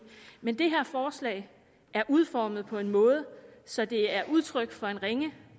men det her forslag er udformet på en måde så det er udtryk for en ringe